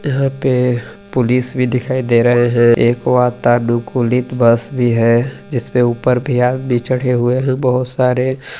यहाँ पे पुलिस भी दिखाई दे रहे है एको अता नो कुलीत बस भी है जिस पे ऊपर भी आदमी चढ़े हुए ही बोहोत सारे--